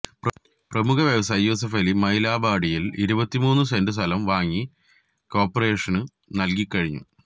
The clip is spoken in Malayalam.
പ്രമുഖ വ്യവസായി യൂസഫലി മൈലാമ്പാടിയിൽ ഇരുപത്തിമൂന്ന് സെന്റ് സ്ഥലം വാങ്ങി കോർപ്പറേഷന് നൽകിക്കഴിഞ്ഞു